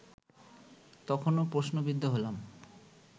তখনো প্রশ্নবিদ্ধ হলাম